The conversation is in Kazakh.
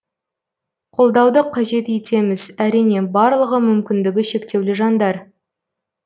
қолдауды қажет етеміз әрине барлығы мүмкіндігі шектеулі жандар